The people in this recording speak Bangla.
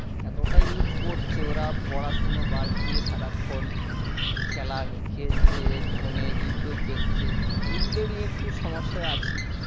এতটাই use করছেওরা পড়াশুনো বাদ দিয়ে সারাক্ষণ খেলার খেলছে phone এ ইউটুব দেখছে এই গুলো নিয়ে একটু সমস্যায় আছি